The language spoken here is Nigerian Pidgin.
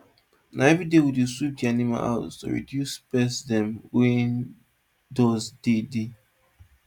na every day we dey sweep d animals house to reduce pest dem wen dust dey dey